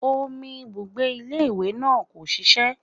Omi ibùgbé ilé ìwé náà kò ṣiṣẹ́